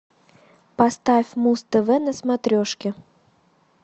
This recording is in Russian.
поставь муз тв на смотрешке